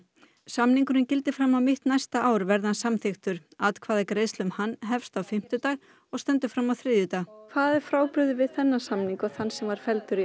samningurinn gildir fram á mitt næsta ár verði hann samþykktur atkvæðagreiðsla um hann hefst á fimmtudag og stendur fram á þriðjudag hvað er frábrugðið við þennan samning og þann sem var felldur í